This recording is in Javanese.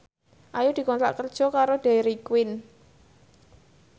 Ayu dikontrak kerja karo Dairy Queen